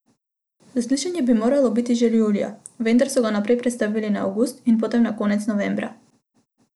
Zaslišanje bi moralo biti že julija, vendar so ga najprej prestavili na avgust in potem na konec novembra.